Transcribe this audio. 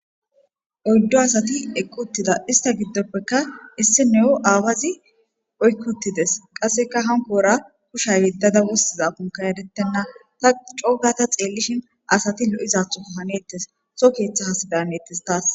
Oydu asati eqi utida issta gidopeka issi nayo awazi oyki odides qaseka hankora kusha yedada wostizako erten ta co gada xelishen lo'oizatho hanetes soho ketha asi maletes tas